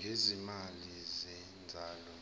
gezimali zezabelo